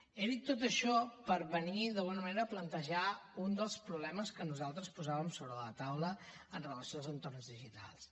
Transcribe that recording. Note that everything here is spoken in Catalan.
he dit tot això per venir d’alguna manera a plantejar un dels problemes que nosaltres posàvem sobre la taula amb relació als entorns digitals